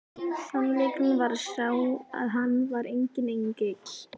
Sannleikurinn var sá að hann var enginn engill!